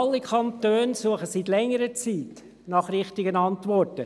Alle Kantone suchen seit längerer Zeit nach richtigen Antworten.